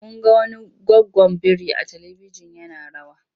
Mun ga wani goggon biri a talibijin yana rawa.